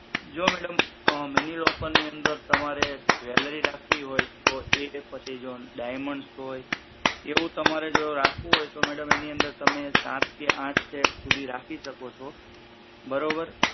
જો madam mini locker ની અંદર તમારે jewellary રાખવી હોય તો એ પછી જો diamond હોય એવું તમારે રાખવું હોય કે તો madam એની અંદર તમે સાત કે આઠ સેટ સુધી રાખી શકો છો બરોબર